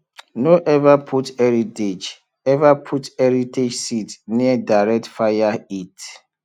no ever put heritage ever put heritage seed near direct fire heat